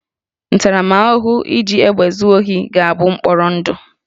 Ntaramahụhụ iji egbe zuo ohi ga-abụ mkpọrọ ndụ